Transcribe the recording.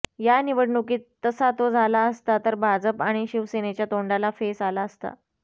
या निवडणुकीत तसा तो झाला असता तर भाजप आणि शिवसेनेच्या तोंडाला फेस आला असता